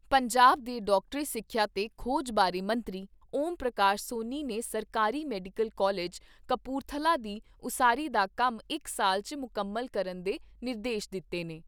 ਪੰਜਾਬ ਦੇ ਡਾਕਟਰੀ ਸਿੱਖਿਆ ਤੇ ਖੋਜ ਬਾਰੇ ਮੰਤਰੀ ਓਮ ਪ੍ਰਕਾਸ਼ ਸੋਨੀ ਨੇ ਸਰਕਾਰੀ ਮੈਡੀਕਲ ਕਾਲਜ ਕਪੂਰਥਲਾ ਦੀ ਉਸਾਰੀ ਦਾ ਕੰਮ ਇਕ ਸਾਲ 'ਚ ਮੁਕੰਮਲ ਕਰਨ ਦੇ ਨਿਰਦੇਸ਼ ਦਿੱਤੇ ਨੇ।